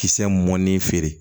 Kisɛ mɔnni feere